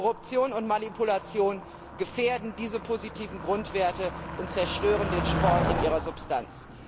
Korruption und Manipulation gefährden diese positiven Grundwerte und zerstören den Sport in seiner Substanz.